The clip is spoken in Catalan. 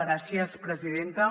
gràcies presidenta